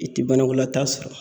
I ti banakɔlata sɔrɔ.